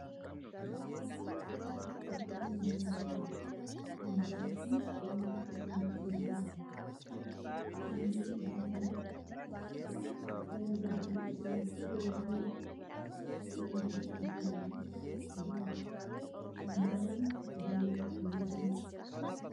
Fakkii minjaala tokkooti. Minjaalli kun waan akka saanduqaa ofi isaarra qaba. Halluun meeshaa kana gara gadii isaan cuquliisa yoo ta'u gara gubbaa isaan immoo adii qaba. Minjaalli kun tajaajila akkamiif oola?